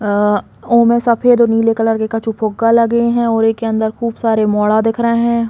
अ उ में सफ़ेद और नीले कलर के कछु फुग्गा लगे है और एक के अंदर खूब सारे मोड़ा दिख रहे हैं।